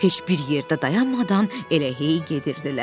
Heç bir yerdə dayanmadan elə hey gedirdilər.